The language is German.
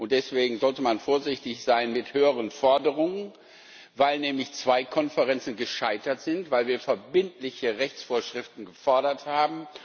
Deswegen sollte man vorsichtig sein mit höheren Forderungen, weil nämlich zwei Konferenzen gescheitert sind, weil wir verbindliche Rechtsvorschriften gefordert haben.